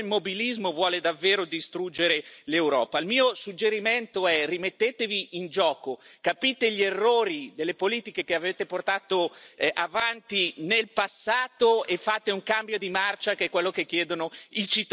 Il mio suggerimento è rimettetevi in gioco, capite gli errori delle politiche che avete portato avanti nel passato e fate un cambio di marcia, che è quello che chiedono i cittadini europei, altrimenti l'Europa, purtroppo, non avrà futuro.